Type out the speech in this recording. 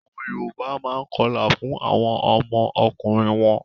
Àwọn Yorùbá máa ń kọlà fún àwọn ọmọ ọkùnrin wọ́n.